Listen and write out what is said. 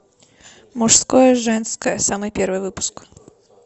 мужское женское самый первый выпуск